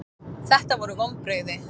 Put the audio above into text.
Þetta voru vonbrigði.